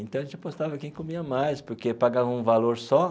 Então a gente apostava quem comia mais, porque pagava um valor só.